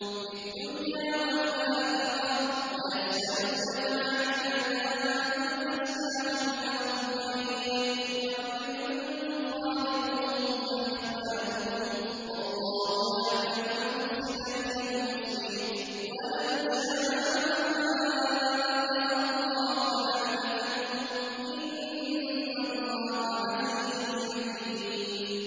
فِي الدُّنْيَا وَالْآخِرَةِ ۗ وَيَسْأَلُونَكَ عَنِ الْيَتَامَىٰ ۖ قُلْ إِصْلَاحٌ لَّهُمْ خَيْرٌ ۖ وَإِن تُخَالِطُوهُمْ فَإِخْوَانُكُمْ ۚ وَاللَّهُ يَعْلَمُ الْمُفْسِدَ مِنَ الْمُصْلِحِ ۚ وَلَوْ شَاءَ اللَّهُ لَأَعْنَتَكُمْ ۚ إِنَّ اللَّهَ عَزِيزٌ حَكِيمٌ